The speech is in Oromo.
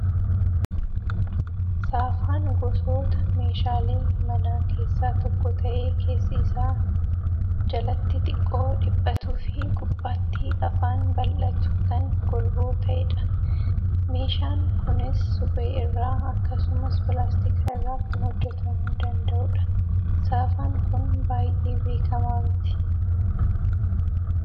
Saafaan gosoota meeshaalee manaa keessaa tokko ta'ee keessi isaa jalatti xiqqoo dhiphatuu fi gubbaatti afaan bal'atu kan golboo ta'edha. Meeshaan kunis suphee irraa akkasumas pilaastika irraa kan hojjatamuu danda'udha. Saafaan kun baay'ee beekamaa miti.